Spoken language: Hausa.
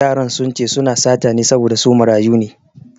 Yaran sun ce su na sata ne saboda su marayu ne